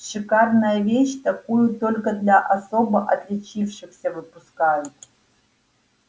шикарная вещь такую только для особо отличившихся выпускают